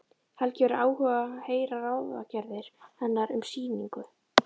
Helgi hefur áhuga á að heyra ráðagerðir hennar um sýningu.